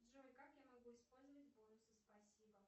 джой как я могу использовать бонусы спасибо